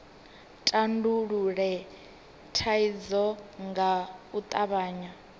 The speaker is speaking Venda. tandulule thaidzo nga u tavhanya